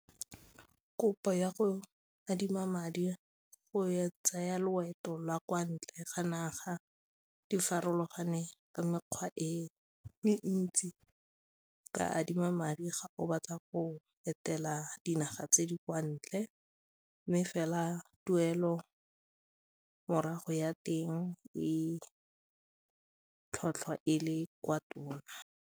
Kopo ya go adima madi go tsaya loeto lwa kwa ntle ga naga di farologane ka mekgwa e ntsi ka adima madi ga o batla go etela dinaga tse di kwa ntle mme fela tuelo morago ya teng e tlhotlhwa e le kwa tona.